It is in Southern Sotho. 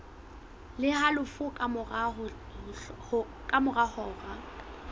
le halofo ka mora hora